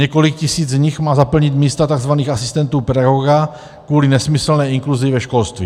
Několik tisíc z nich má zaplnit místa tzv. asistentů pedagoga kvůli nesmyslné inkluzi ve školství.